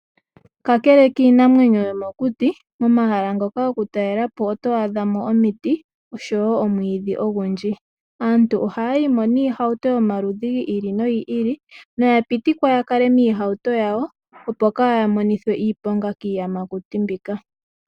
Kakele kiinamwenyo yomokuti, omahala ngoka gokutaalelwapo otwaadha mo omiti oshowoo omwiidhi ogundji . Aantu ohaya yimo niihauto yomaludhi giili nogiili noyapitikwa yakale miihauto yawo opo kaaya monithwe iilonga kiiyamakuti mbyika.